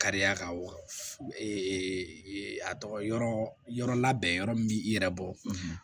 Kariya kan wa a tɔgɔ yɔrɔ yɔrɔ labɛn yɔrɔ min b'i yɛrɛ bɔ